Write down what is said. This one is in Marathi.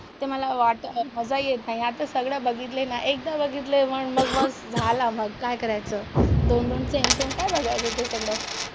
ते मला मजा येत नाही. आता सगळं बघितलंय ना, एकदा बघितलंय मग झालं मग काय करायचं, दोन-दोन सेम सेम काय बघायचं ते सगळं.